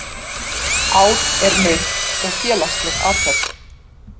Át er nautn og félagsleg athöfn.